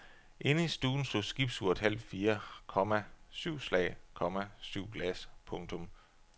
Inde i stuen slog skibsuret halv fire, komma syv slag, komma syv glas. punktum